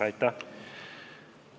Aitäh!